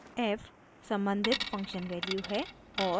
f सम्बंधित function value है और